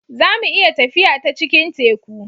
za mu iya tafiya ta cikin Teku